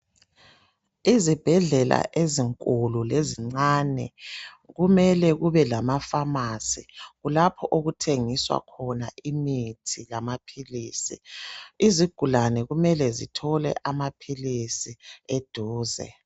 Izibhedlela ezinkulu lezincani kumele kube lamafamasi kulapho okuthengiswa khona imithi lamaphilisi izigulane kumele zithole amaphilisi eduze.